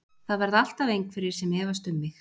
Það verða alltaf einhverjir sem efast um mig.